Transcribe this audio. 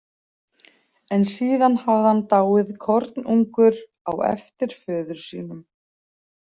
En síðan hafði hann dáið kornungur, á eftir föður sínum.